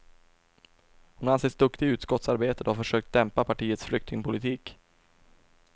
Hon anses duktig i utskottsarbetet och har försökt dämpa partiets flyktingpolitik.